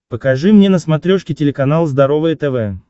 покажи мне на смотрешке телеканал здоровое тв